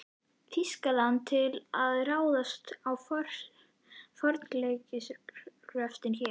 Þýskalandi til að ráðast í fornleifagröft hér.